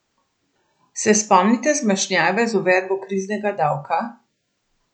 Se spomnite zmešnjave z uvedbo kriznega davka?